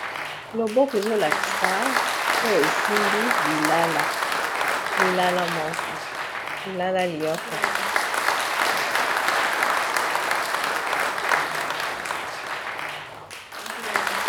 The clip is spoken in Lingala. Loboko ezolakisa to esimbi lilala lilala moko lilala lioko.